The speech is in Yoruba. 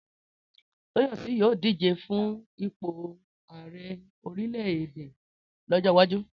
Tóyọ̀sí yóò díje fún ipò àrẹ orílẹ̀ èdè lọ́jọ́ iwájú